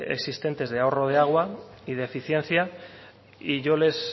existentes de ahorro de agua y de eficiencia y yo les